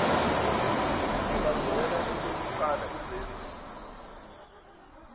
alandela elokuqala izenzi